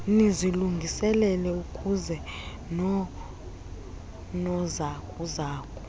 nizilungiselele uyeza noonozakuzaku